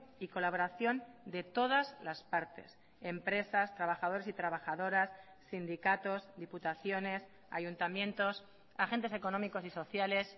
y colaboración de todas las partes empresas trabajadores y trabajadoras sindicatos diputaciones ayuntamientos agentes económicos y sociales